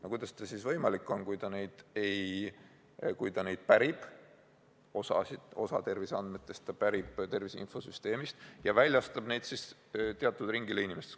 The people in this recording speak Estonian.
No kuidas see võimalik on, kui ta tervise infosüsteemist terviseandmeid pärib ja need teatud inimeste ringile väljastab?